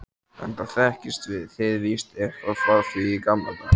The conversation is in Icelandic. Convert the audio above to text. enda þekkist þið víst eitthvað frá því í gamla daga.